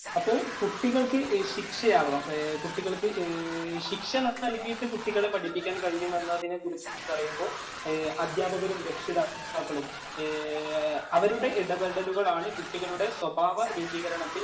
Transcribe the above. അപ്പൊ കുട്ടികള്‍ക്ക് ശിക്ഷയാകാം. കുട്ടികള്‍ക്ക് ശിക്ഷണം നല്‍കിയിട്ട് കുട്ടികളെ പഠിപ്പിക്കാന്‍ കഴിയുമെന്നതിനെ കുറിച്ചിട്ടു പറയുമ്പോ അധ്യാപകരും, രക്ഷിതാ രക്ഷകര്‍ത്താക്കളും അവരുടെ ഇടപെടലുകളാണ് കുട്ടികളുടെ സ്വഭാവ രൂപികരണത്തില്‍